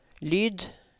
lyd